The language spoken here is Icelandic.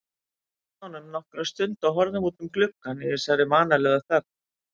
Við sátum með honum nokkra stund og horfðum út um gluggann í þessari vanalegu þögn.